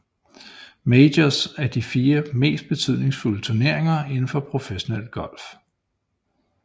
Majors er de fire mest betydningsfulde turneringer indenfor professionel golf